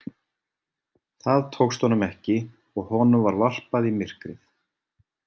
Það tókst honum ekki og honum var varpað í myrkrið.